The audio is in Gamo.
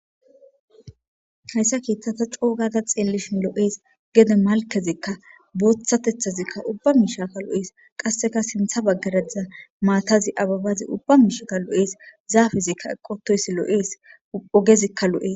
Hayisa kethata co,o gada xelishin lo,es gede malkezika bothatethazika uba mishika lo,oes qasika sintha bagara diza mathazi ababazi uba mishika lo, oes zafezika eqiwutidayisi lo,es ogezika lo,es